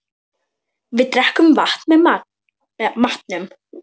Við drekkum vatn með matnum.